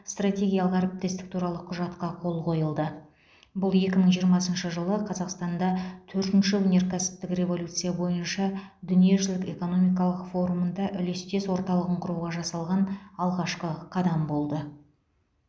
стратегиялық әріптестік туралы құжатқа қол қойылды бұл екі мың жиырмасыншы жылы қазақстанда төртінші өнеркәсіптік революция бойынша дүниежүзілік экономикалық форумында үлестес орталығын құруға жасалған алғашқы қадам болды